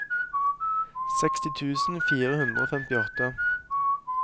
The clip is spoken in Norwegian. seksti tusen fire hundre og femtiåtte